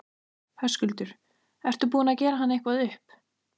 Höskuldur: Ertu búinn að gera hann eitthvað upp?